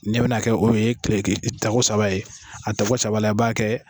Ne bɛna kɛ o ye tako saba ye a tako saba b'a kɛ